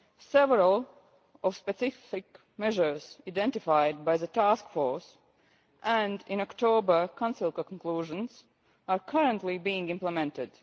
Several specific measures identified by the Task Force and in the October Council conclusions are currently being implemented.